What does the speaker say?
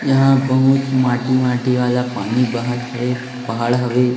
यहां बहुत माटी माटी वाला पानी बहत है पहाड़ हवे --